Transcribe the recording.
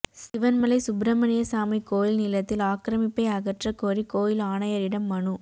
சிவன்மலை சுப்பிரமணியசாமி கோயில் நிலத்தில் ஆக்கிரமிப்பை அகற்றக் கோரி கோயில் ஆணையரிடம் மனு